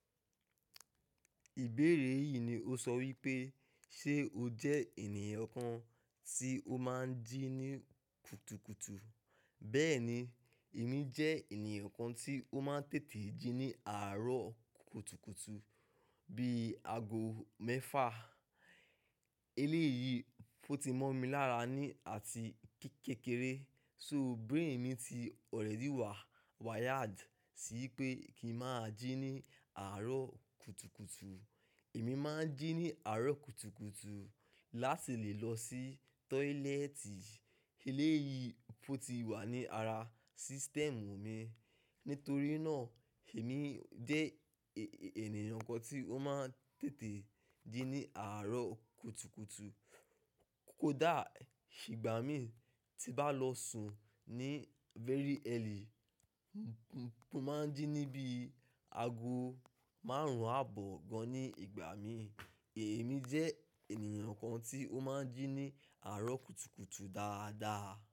Ìbéèrè yìí ni ó sọ wípé ṣe o jẹ́ ènìyàn kan tí o máa ń jí ní kùtùkùtù. Bẹ́ẹ̀ni, èmi jẹ́ ènìyàn kan tí ó máa ń tètè jí ní àárọ̀ kùtùkùtù bí i ago mẹ́fà. Eléyìí pó ti mọ́ mi lára ní àti kékeré. So brain mi ti already wà wired sí pé kí ń máa jí ní àárọ̀ kùtùkùtù. Èmi máa ń jí ní àárọ̀ kùtùkùtù láti lè lọ sí tọ́ílẹ́ẹ̀tì. Eléyìí pó ti wà ní ara system mi. Nítorí náà, èmi jẹ́ ènìyàn kan tí ó máa ń tètè jí ní àárọ̀ kùtùkùtù. Kódà ìgbà mi tí bá lọ sùn ní very early, mo máa ń jí ní bí i ago márùn-ún àbọ̀ gan-an ní ìgbà mi. Ẹ̀mí jẹ́ ènìyàn kan tí ó máa ń jí ní àárọ̀ kùtùkùtù dáadáa.